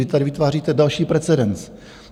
Vy tady vytváříte další precedens.